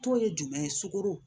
Tɔ ye jumɛn ye sugunɛ